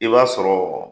I b'a sɔrɔ